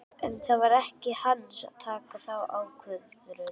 En það er ekki hans að taka þá ákvörðun.